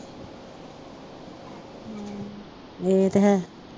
ਏਹ ਤੇ ਹੈ